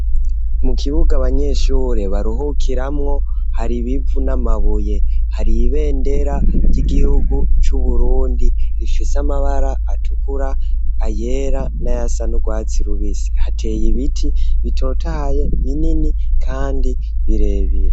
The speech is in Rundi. Mu kibuga abanyeshure baruhukiramwo, hari ibivu n'amabuye. Hari ibendera ry'igihugu c'Uburundi rifise amabara atukura, ayera, n'ayasa n'urwatsi rubisi. Hateye ibiti bitotahaye binini kandi birebiye.